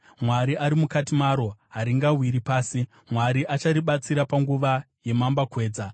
Mwari ari mukati maro, haringawiri pasi; Mwari acharibatsira panguva yemambakwedza.